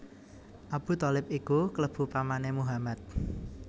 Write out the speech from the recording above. Abu Tholib iku klebu pamané Muhammad